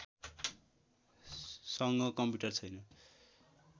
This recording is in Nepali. सँग कम्प्युटर छैन